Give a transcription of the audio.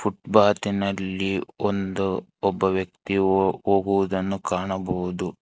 ಬಾತಿನಲ್ಲಿ ಒಂದು ಒಬ್ಬ ವ್ಯಕ್ತಿಯು ಹೊ ಹೋಗುವುದನ್ನು ಕಾಣಬಹುದು.